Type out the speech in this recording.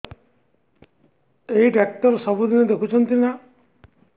ଏଇ ଡ଼ାକ୍ତର ସବୁଦିନେ ଦେଖୁଛନ୍ତି ନା